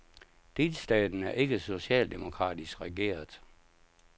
Delstaten er ikke socialdemokratisk regeret.